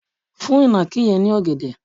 fún ìnàkí yẹn ní ògèdè!